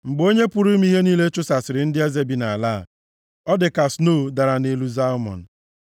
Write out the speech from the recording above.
Mgbe Onye pụrụ ime ihe niile chụsasịrị ndị eze bi nʼala a, ọ dị ka snoo dara nʼelu Zalmon.